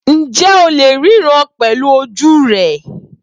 Ǹjẹ́ o lè ríran pẹ̀lú ojú rẹ?